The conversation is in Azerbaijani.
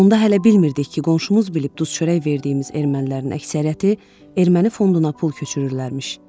Onda hələ bilmirdik ki, qonşumuz bilib duz-çörək verdiyimiz ermənilərin əksəriyyəti erməni fonduna pul köçürürlərmiş.